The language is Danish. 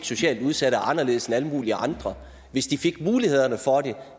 socialt udsatte er anderledes end alle andre hvis de fik mulighederne og